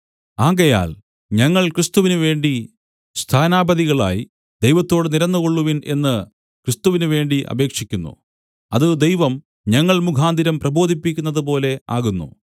ആകയാൽ ഞങ്ങൾ ക്രിസ്തുവിന് വേണ്ടി സ്ഥാനാപതികളായി ദൈവത്തോട് നിരന്നുകൊള്ളുവിൻ എന്ന് ക്രിസ്തുവിന് വേണ്ടി അപേക്ഷിക്കുന്നു അത് ദൈവം ഞങ്ങൾ മുഖാന്തരം പ്രബോധിപ്പിക്കുന്നതുപോലെ ആകുന്നു